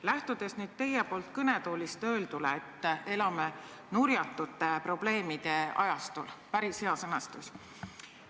" Lähtudes teie siin kõnetoolis öeldust, et elame nurjatute probleemide ajastul – päris hea sõnastus!